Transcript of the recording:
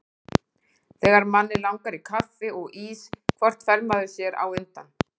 Þegar manni langar í kaffi og ís hvort fær maður sér á undan?